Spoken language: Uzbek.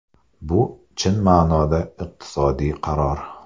Bu chin ma’noda iqtisodiy qaror.